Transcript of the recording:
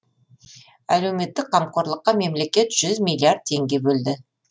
әлеуметтік қамқорлыққа мемлекет жүз миллиард теңге бөлді